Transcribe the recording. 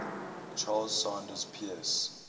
charles sanders peirce